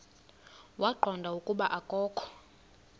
waqonda ukuba akokho